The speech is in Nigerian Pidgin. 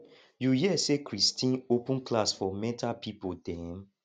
you hear say christine open class for mental people dem